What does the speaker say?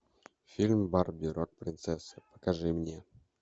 фильм барби рок принцесса покажи мне